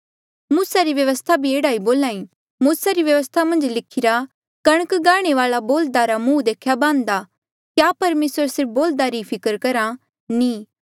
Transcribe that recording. मूसा री व्यवस्था भी एह्ड़ा बोली मूसा री व्यवस्था मन्झ लिखिरा कणक गांहणे वाले बोल्ह्दा रा मुंह देख्या बान्ह्दा क्या परमेसर सिर्फ बोल्ह्दा री फिकर करहा नी